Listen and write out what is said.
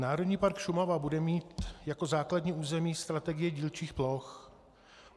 Národní park Šumava bude mít jako základní území strategii dílčích ploch.